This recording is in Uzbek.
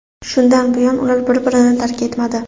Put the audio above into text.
Shundan buyon ular bir-birini tark etmadi.